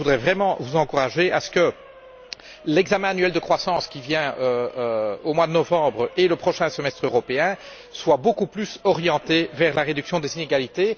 Je voudrais donc vraiment vous encourager à ce que l'examen annuel de la croissance prévu au mois de novembre et le prochain semestre européen soient beaucoup plus orientés vers la réduction des inégalités.